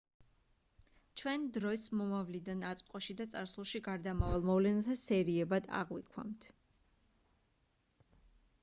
ჩვენ დროს მომავლიდან აწმყოში და წარსულში გარდამავალ მოვლენათა სერიებად აღვიქვამთ